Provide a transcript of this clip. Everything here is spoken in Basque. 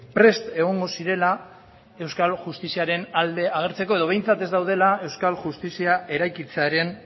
prest egongo zirela euskal justiziaren alde agertzeko edo behintzat ez daudela euskal justizia eraikitzearen